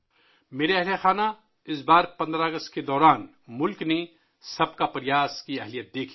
میرے پریوار جَن ، اس بار 15 اگست کو ملک نے 'سب کا پریاس' کی طاقت دیکھی